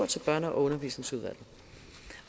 til børne og undervisningsudvalget